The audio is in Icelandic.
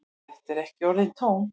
Þetta eru ekki orðin tóm.